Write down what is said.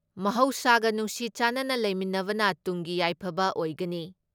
ꯃꯍꯧꯁꯥꯒ ꯅꯨꯡꯁꯤ ꯆꯥꯟꯅꯅ ꯂꯩꯃꯤꯟꯅꯕꯅ ꯇꯨꯡꯒꯤ ꯌꯥꯏꯐꯕ ꯑꯣꯏꯒꯅꯤ ꯫